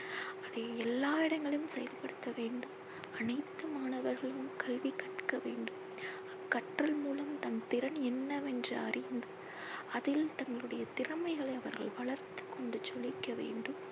அதை எல்லா இடங்களும் செயல் படுத்த வேண்டும். அனைத்து மாணவர்களும் கல்வி கற்க வேண்டும். கற்றல் மூலம் தன் திறன் என்னவென்று அறிந்து அதில் தங்களுடைய திறமைகளை அவர்கள் வளர்த்து கொண்டு ஜொலிக்க வேண்டும்.